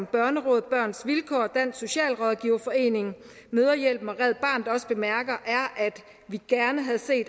børnerådet børns vilkår og dansk socialrådgiverforening mødrehjælpen og red barnet også bemærker